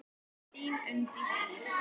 Þín Unndís Ýr.